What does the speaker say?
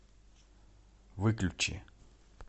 выключи